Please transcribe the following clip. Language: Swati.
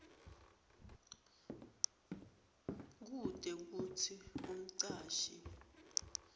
kute kutsi umcashi